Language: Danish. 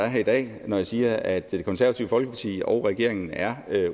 er her i dag når jeg siger at det konservative folkeparti og regeringen er